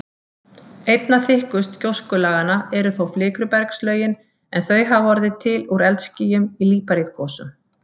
Einna þykkust gjóskulaganna eru þó flikrubergslögin, en þau hafa orðið til úr eldskýjum í líparítgosum.